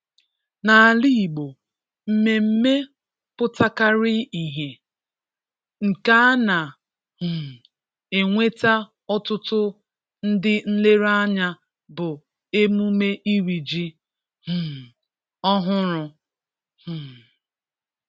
N’ala Igbo, mmemme pụtakarịrị ihe, nke a na- um enwe ọtụtụ ndị nlereanya bụ emume iri ji um ọhụrụ. um